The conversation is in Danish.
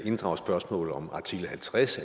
inddrage spørgsmålet om artikel halvtreds